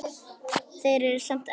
Þeir eru samt ennþá hann.